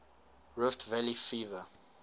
rift valley fever